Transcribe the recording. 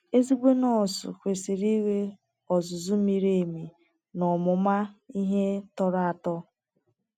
Ezigbo nọọsụ kwesiri inwe ozụzụ miri emi na ọmụma ihe torọ ato